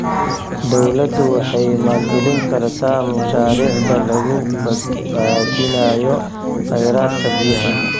Dawladdu waxay maalgelin kartaa mashaariicda lagu badbaadinayo kheyraadka biyaha.